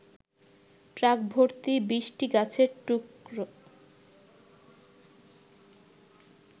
truck ভর্তি ২০টি গাছের টুকর